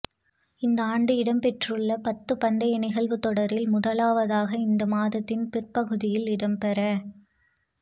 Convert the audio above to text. இந்த ஆண்டு இடம்பெறவுள்ள பத்து பந்தய நிகழ்வுத் தொடரில் முதலாவதாக இந்த மாதத்தின் பிற்பகுதியில் இடம்பெற